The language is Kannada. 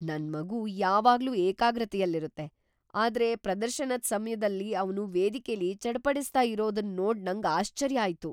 ನನ್ ಮಗು ಯಾವಾಗ್ಲೂ ಏಕಾಗ್ರತೆಯಲ್ಲಿರುತ್ತೆ, ಆದ್ರೆ ಪ್ರದರ್ಶನದ್ ಸಮ್ಯದಲ್ ಅವ್ನು ವೇದಿಕೆಲಿ ಚಡಪಡಿಸ್ತಾ ಇರೋದನ್ ನೋಡ್ ನಂಗ್ ಆಶ್ಚರ್ಯ ಆಯ್ತು.